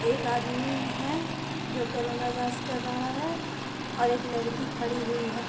एक आदमी है जो कोरोना जाँच कर रहा है और एक लड़की खड़ी हुई है।